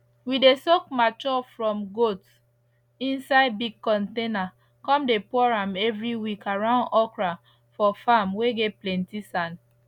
we dey soak mature from goat inside big container come dey pour am every week around okra for farm whey get plenty sand